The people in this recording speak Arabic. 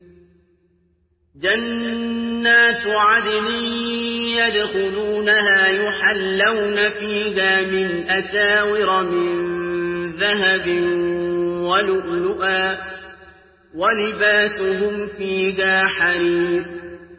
جَنَّاتُ عَدْنٍ يَدْخُلُونَهَا يُحَلَّوْنَ فِيهَا مِنْ أَسَاوِرَ مِن ذَهَبٍ وَلُؤْلُؤًا ۖ وَلِبَاسُهُمْ فِيهَا حَرِيرٌ